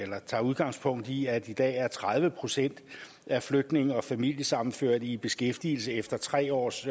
tager udgangspunkt i at i dag er tredive procent af flygtninge og familiesammenførte i beskæftigelse efter tre års